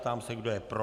Ptám se, kdo je pro.